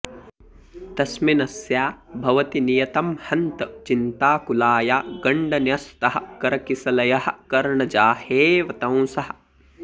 तस्मिन्नस्या भवति नियतं हन्त चिन्ताकुलाया गण्डन्यस्तः करकिसलयः कर्णजाहेऽवतंसः